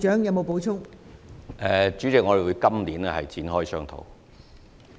代理主席，我們會在今年展開商討。